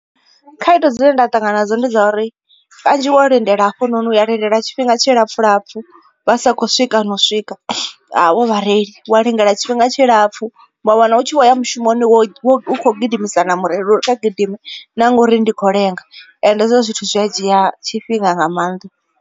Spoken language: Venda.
Khaedu dzine nda ṱangana nadzo ndi dza uri kanzhi wo lindela hafhunoni uya lindela tshifhinga tshi lapfu lapfu vha sa khou swika na u swika havho vhareili. Wa lindela tshifhinga tshilapfu wa wana u tshi vho ya mushumoni wo u kho gidimisa na mureili uri kha gidime na ngori ndi kho lenga ende hezwo zwithu zwi a dzhia tshifhinga nga maanḓa.